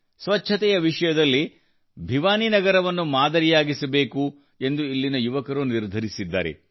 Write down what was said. ಸ್ವಚ್ಛತೆಯ ವಿಷಯದಲ್ಲಿ ಭಿವಾನಿ ನಗರವನ್ನು ಮಾದರಿಯಾಗಿಸಬೇಕು ಎಂದು ಇಲ್ಲಿನ ಯುವಕರು ನಿರ್ಧರಿಸಿದ್ದಾರೆ